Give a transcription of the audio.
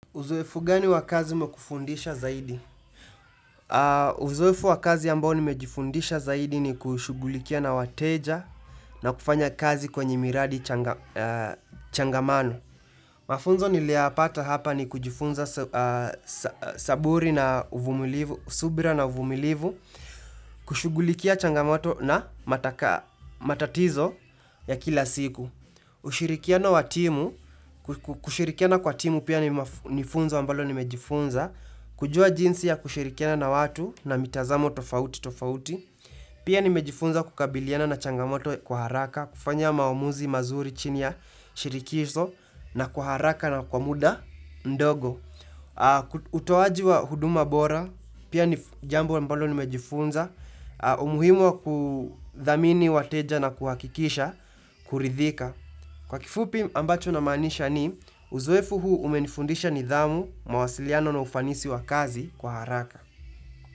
Uzoefu gani wakazi mekufundisha zaidi? Uzoefu wakazi ambao nimejifundisha zaidi ni kushugulikia na wateja na kufanya kazi kwenye miradi changamano. Mafunzo niliya pata hapa ni kujifunza saburi na subira na uvumilivu kushugulikia changamoto na matatizo ya kila siku. Ushirikiano wa timu, kushirikiana kwa timu pia nifunzo ambalo nimejifunza kujua jinsi ya kushirikiana na watu na mitazamo tofauti tofauti Pia nimejifunza kukabiliana na changamoto kwa haraka kufanya maomuzi mazuri chini ya shirikizo na kwa haraka na kwa muda mdogo utoaji wa huduma bora, pia ni jambo ambalo nimejifunza umuhimu wa kudhamini wateja na kuhakikisha, kuridhika Kwa kifupi ambacho na maanisha ni, uzoefu huu umenifundisha nidhamu mawasiliano na ufanisi wa kazi kwa haraka.